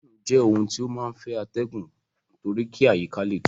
Fáànù jẹ́ ohun tí ó máa ń fẹ́ atẹgun torí kí àyíká le tutù.